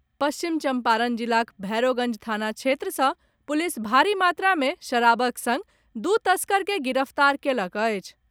पश्चिम चंपारण जिलाक भैरोगंज थाना क्षेत्र सँ पुलिस भारी मात्रा में शराबक संग दू तस्कर के गिरफ्तार कयलक अछि।